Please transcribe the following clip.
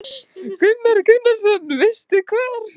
Hafsteinn Hauksson: Veistu hvar?